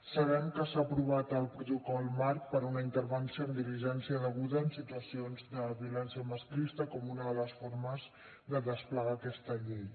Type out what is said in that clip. sabem que s’ha aprovat el protocol marc per a una intervenció amb diligència deguda en situacions de violència masclista com una de les formes de desplegar aquesta llei